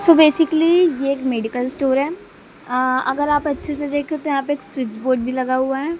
सो basically ये एक medical store है अह अगर आप अच्छे से देखे तो यहां पे एक स्विच बोर्ड भी लगा हुआ है।